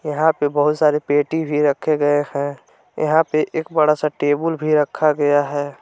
यहां पे बहुत सारी पेटी भी रखे गए हैं यहां पे एक बड़ा सा टेबुल भी रखा गया है।